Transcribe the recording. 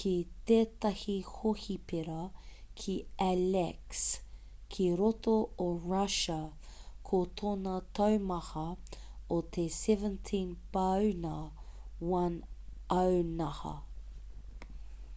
ki tētahi hohipera ki aleisk ki roto o russia ko tōna taumaha o te 17 pāuna 1 aunaha